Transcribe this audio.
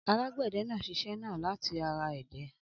Alágbẹ̀dẹ náà ṣiṣẹ́ náà láti ara ẹdẹ.